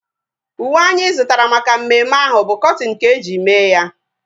Uwe anyị zụtara maka mmemme ahu bu kọtin ka-eji mee ya